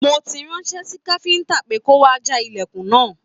Mo tí ránṣẹ sí káfíntà pe kò wá já ilẹkùn náà.